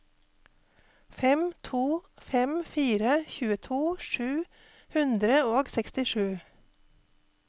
fem to fem fire tjueto sju hundre og sekstisju